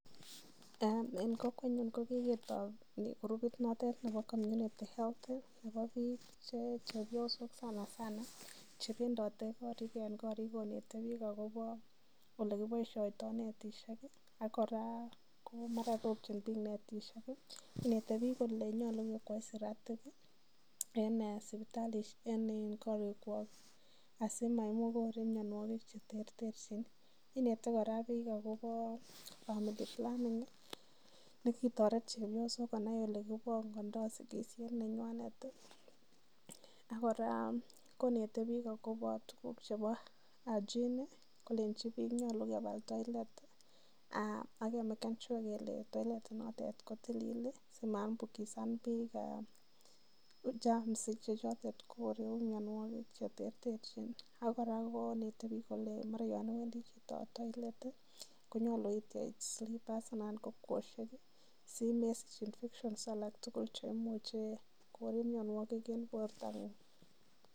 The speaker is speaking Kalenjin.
En kokwenyun ko kigetoi kurupit noton nebo community health nebo biik che chepyosok sanasan che bendote korik konete biik agobo ole kiboisioito netishek ak kora ko mara ropchin biik netishek. Inete biik kole yoche kekwai siratik en korikwak asimagai korek mianwogik che terterchin. Inet kora biik agobo family planning kitoret chepyosok konai ole kibongondo sigisiet nenywanet ak kora konet biik agobo tuguk chbeo hygiene kolenchi biik nyolu kebal toilet ak meken sure kele toliet inotet ko tilil simaambukisan biik uchafu chechwaget anan korek mianwogik cheterter. Ak kora konete biik kole, mara yan iwendi chito toilet konyolu ityech silibas anan ko kwosiek simesich infections alak tugul che imuche koib mianwogik en bortang'ung.